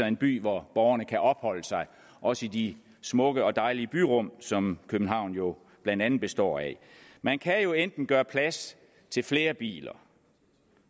en by hvor borgerne kan opholde sig også i de smukke og dejlige byrum som københavn jo blandt andet består af man kan enten gøre plads til flere biler